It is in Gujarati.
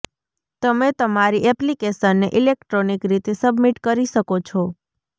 તમે તમારી એપ્લિકેશનને ઇલેક્ટ્રોનિક રીતે સબમિટ કરી શકો છો